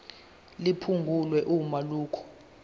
liphungulwe uma lokhu